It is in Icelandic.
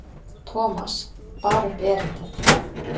Thomas bar upp erindið.